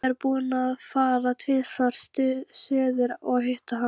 Ég er búinn að fara tvisvar suður að hitta hana.